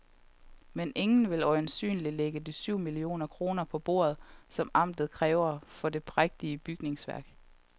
Men ingen vil øjensynligt lægge de syv millioner kroner på bordet, som amtet kræver for det prægtige bygningsværk.